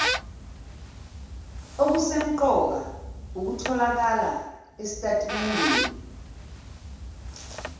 okusemqoka okutholakala esitatimendeni